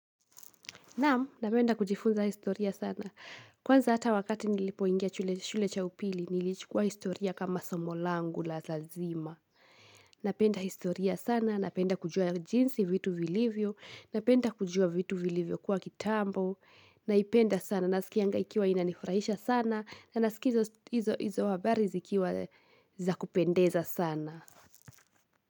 Naam, napenda kujifunza historia sana. Kwanza hata wakati nilipoingia shule cha upili, nilichukua historia kama somo langu la zazima. Napenda historia sana, napenda kujua jinsi vitu vilivyo, napenda kujua vitu vilivyokuwa kitambo, naipenda sana, naskianga ikiwa inanifurahisha sana, na nasikiza hizo habari zikiwa za kupendeza sana.